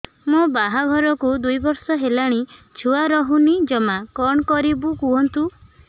ମୋ ବାହାଘରକୁ ଦୁଇ ବର୍ଷ ହେଲାଣି ଛୁଆ ରହୁନି ଜମା କଣ କରିବୁ କୁହନ୍ତୁ